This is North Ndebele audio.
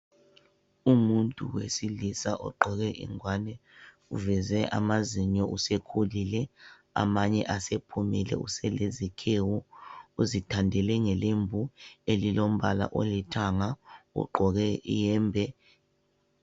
Umuntu wesilisa ogqoke ingwani uveze amazinyo usekhulile amanye asephumile uselezikhewu, uzithandele ngelembu elilombala olithanga ugqoke iyembe.